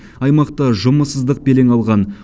аймақта жұмыссыздық белең алған